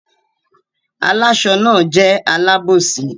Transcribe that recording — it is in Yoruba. Àláṣọ náà jẹ́ alábòsí.